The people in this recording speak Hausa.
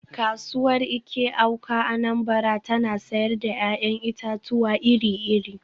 “Kasuwar Eke-Awka (Anambra) tana sayar da ‘ya’yan itatuwa iri-iri.